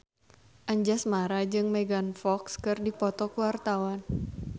Anjasmara jeung Megan Fox keur dipoto ku wartawan